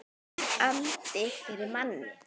Allur andinn yfir manni.